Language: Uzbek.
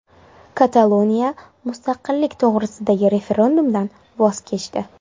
Kataloniya mustaqillik to‘g‘risidagi referendumdan voz kechdi.